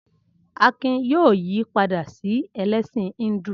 Akin yóò yí padà sí ẹlẹ́sìn Híńdù.